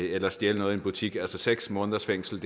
eller stjæle noget i en butik seks måneders fængsel